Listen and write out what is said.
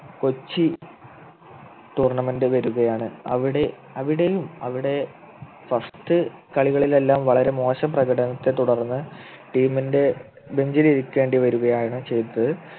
Kochi tournament വരികയാണ് അവിടെ അവിടെയും അവിടെ first കളികളിൽ എല്ലാം വളരെ മോശം പ്രകടനത്തെ തുടർന്ന് team ൻ്റെ bench ലിരിക്കേണ്ടി വരികയാണ് ചെയ്തത്